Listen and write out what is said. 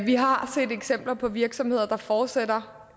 vi har set eksempler på virksomheder der fortsætter